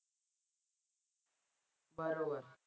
बरोबर.